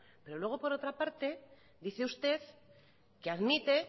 pero luego por otra parte dice usted que admite